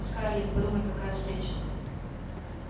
скарлетт подумай какая встреча